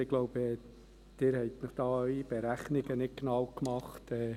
Ich glaube, Sie haben hier Ihre Berechnungen nicht genau gemacht.